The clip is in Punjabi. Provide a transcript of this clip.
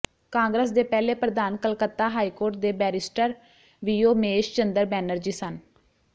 ਕਾਂਗਰਸ ਦੇ ਪਹਿਲੇ ਪ੍ਰਧਾਨ ਕਲਕੱਤਾ ਹਾਈ ਕੋਰਟ ਦੇ ਬੈਰੀਸਟਰ ਵਿਯੋਮੇਸ਼ ਚੰਦਰ ਬੈਨਰਜੀ ਸਨ